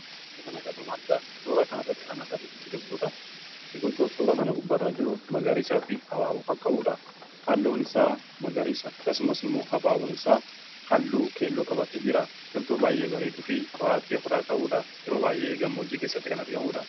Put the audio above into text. Kana gatumaata suuraa kan arratt kan agaru biqiltuudha. biqiltuu suura kana gubbarraa jiru magariisaa fi habaabu kan qabuudha halluun isaa magariisa kasumas immoo habaaboun isaa halluu keelloo qabate jira biqiltuu baay'ee barii dhufii qoraattii ofirraa qabuudha yeroo baay'ee gammoojjii keessatti kan argamuudha.